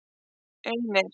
einir